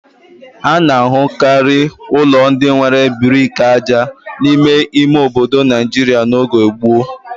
A na-ahụkarị ụlọ ndị nwere brik aja n'ime ime obodo Nigeria n'oge gboo.